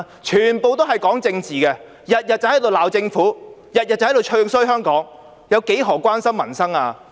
全部都是在談政治，每天都在罵政府，每天都在"唱衰"香港，她何時關心過民生？